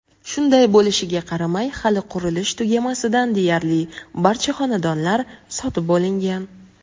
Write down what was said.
Shunday bo‘lishiga qaramay hali qurilish tugamasidan deyarli barcha xonadonlar sotib bo‘lingan.